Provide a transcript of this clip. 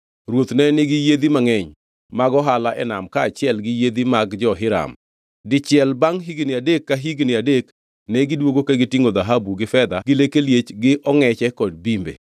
Ruoth ne nigi yiedhi mangʼeny mag ohala e nam kaachiel gi yiedhi mag jo-Hiram. Dichiel bangʼ higni adek ka higni adek negidwogo ka gitingʼo dhahabu gi fedha gi leke liech gi ongʼeche kod bimbe.